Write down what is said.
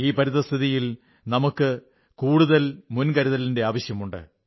ഈ പരിതഃസ്ഥിതിയിൽ നമുക്കു കൂടുതൽ മുൻകരുതലിന്റെ ആവശ്യമുണ്ട്